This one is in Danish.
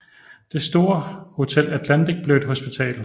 Det store hotel Atlantic blev et hospital